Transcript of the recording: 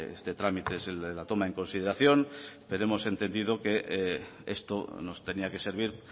este trámite es el de la toma en consideración pero hemos entendido que esto nos tenía que servir